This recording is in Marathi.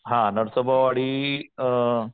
हा नरसोबावाडी अ